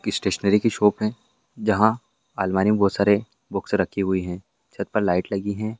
एक स्टेशनरी की शॉप है जहां अलमारी मे बहुत सारे बुक्स रखी हुई है छत पर लाइट लगी है।